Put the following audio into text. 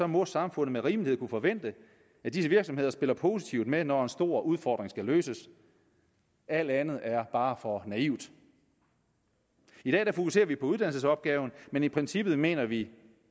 må samfundet med rimelighed kunne forvente at disse virksomheder spiller positivt med når en stor udfordring skal løses alt andet er bare for naivt i dag fokuserer vi på uddannelsesopgaven men i princippet mener vi